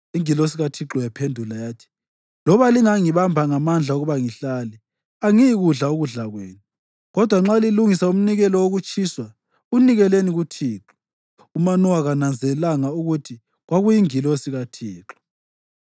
Ingilosi kaThixo yaphendula yathi, “Loba lingangibamba ngamandla ukuba ngihlale, angiyikukudla ukudla kwenu. Kodwa nxa lilungisa umnikelo wokutshiswa, unikeleni kuThixo.” (UManowa kananzelelanga ukuthi kwakuyingilosi kaThixo.)